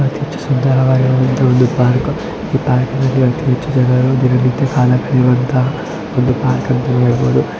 ಅತೀ ಹೆಚ್ಚು ಸುಂದರವಾಗಿರುವಂತಹ ಒಂದು ಪಾರ್ಕ್ . ಈ ಪಾರ್ಕ್ ನಲ್ಲಿ ಅತೀ ಹೆಚ್ಚು ಜನರು ದಿನನಿತ್ಯ ಕಾಲಕಲಿಯುವಂತಹ ಒಂದು ಪಾರ್ಕ್ ಅಂತ ಹೇಳಬಹುದು .